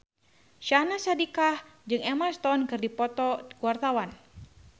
Syahnaz Sadiqah jeung Emma Stone keur dipoto ku wartawan